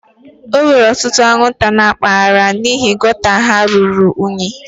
E nwere ọtụtụ anwụnta na mpaghara a n'ihi gota ha ruru unyi